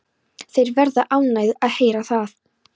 Þeir verða ánægðir að heyra það.